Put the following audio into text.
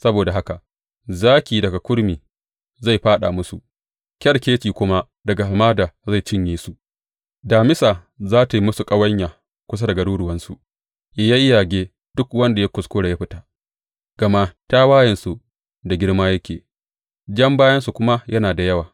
Saboda haka zaki daga kurmi zai fāɗa musu, kyarkeci kuma daga hamada zai cinye su, damisa za tă yi musu ƙawanya kusa da garuruwansu yă yayyage duk wanda ya kuskura ya fita, gama tawayensu da girma yake jan bayansu kuma yana da yawa.